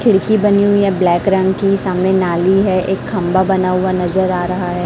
खिड़की बनी हुई है ब्लैक रंग की सामने नाली है एक खंभा बना हुआ नजर आ रहा है।